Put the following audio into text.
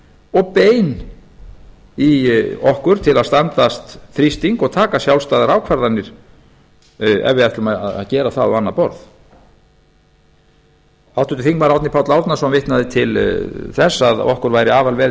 og bein í okkur til að standast þrýsting og taka sjálfstæðar ákvarðanir ef við ætlum að gera það á annað borð háttvirtur þingmaður árni páll árnason vitnaði til þess að okkur væri afar vel